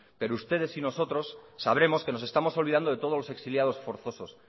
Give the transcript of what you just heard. pero ustedes y nosotros sabremos que nos estamos olvidando de todos los exiliados forzosos